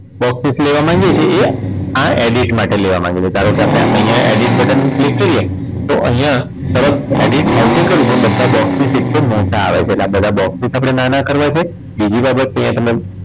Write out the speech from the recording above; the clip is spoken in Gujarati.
Box width લેવા માંગીએ છીએ એ આ edit માટે લેવા માંગે છે ધારો કે આપણે અહીંયા edit button click કરીએ તો અહીંયા તરત edit થાય છે ખરું પણ બધા box નું piscal મોટા આવે છે એટલે આ બધા box width આપણે નાના કરવા છે બીજી બાબત અહીંયા તમને